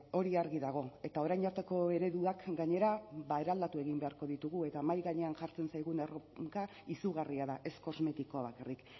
hori argi dago eta orain arteko ereduak gainera ba eraldatu egin beharko ditugu eta mahai gainean jartzen zaigun erronka izugarria da ez kosmetikoa bakarrik